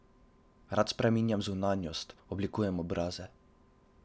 Rad spreminjam zunanjost, oblikujem obraze.